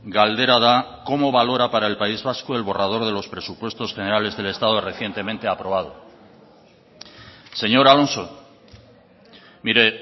galdera da cómo valora para el país vasco el borrador de los presupuestos generales del estado recientemente aprobado señor alonso mire